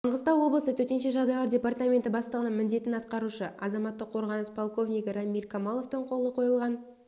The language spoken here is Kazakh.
маңғыстау облысы төтенше жағдайлар департаменті бастығының міндетін атқарушы азаматтық қорғаныс полковнигі рамиль камаловтың қолы қойылған